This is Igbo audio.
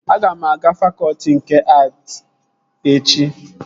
Aga m aga fakọtị nke att echi